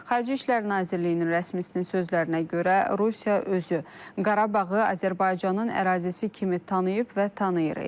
Xarici İşlər Nazirliyinin rəsmisinin sözlərinə görə Rusiya özü Qarabağı Azərbaycanın ərazisi kimi tanıyıb və tanıyır.